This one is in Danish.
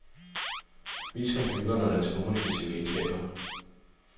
Vis computeren og dens kommunikative egenskaber.